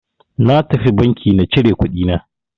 Na tafi banki na cire kuɗi na.